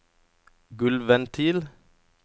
gulvventil